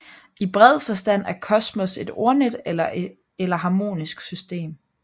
I bred forstand er kosmos et ordnet eller harmonisk system